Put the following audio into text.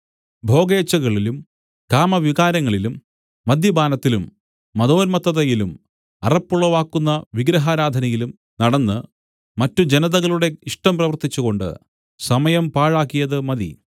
ഭോഗേച്ഛകളിലും കാമവികാരങ്ങളിലും മദ്യപാനത്തിലും മദോന്മത്തതയിലും അറപ്പുളവാക്കുന്ന വിഗ്രഹാരാധനയിലും നടന്ന് മറ്റ് ജനതകളുടെ ഇഷ്ടം പ്രവർത്തിച്ചുകൊണ്ട് സമയം പാഴാക്കിയത് മതി